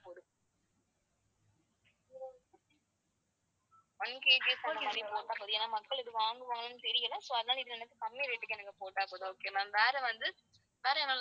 oneKG அந்த மாதிரி போட்டா போதும். ஏன்னா மக்கள் வாங்குவாங்களான்னு தெரியல. so அதனால எனக்கு இதுல கம்மி rate க்கு போட்டா போதும் வேற வந்து வேற